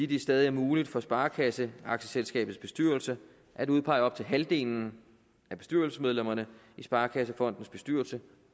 det stadig er muligt for sparekasseaktieselskabets bestyrelse at udpege op til halvdelen af bestyrelsesmedlemmerne i sparekassefondens bestyrelse